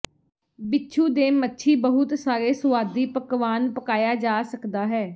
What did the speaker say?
ਬਿਛੂ ਦੇ ਮੱਛੀ ਬਹੁਤ ਸਾਰੇ ਸੁਆਦੀ ਪਕਵਾਨ ਪਕਾਇਆ ਜਾ ਸਕਦਾ ਹੈ